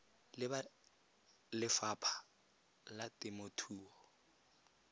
le ba lefapha la temothuo